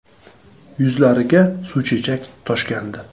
Yuzlariga suvchechak toshgandi.